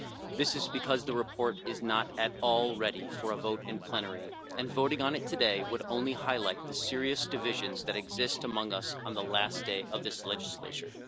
This is because the report is not at all ready for a vote in plenary and voting on it today would only highlight the serious divisions that exist among us on the last day of this legislature.